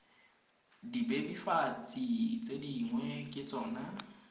dibebofatsi tse dingwe ke tsona